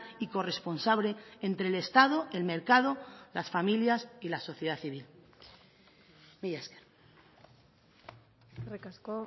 y corresponsable entre el estado el mercado las familias y la sociedad civil mila esker eskerrik asko